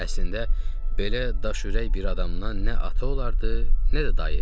Əslində, belə daşürək bir adamdan nə ata olardı, nə də dayı.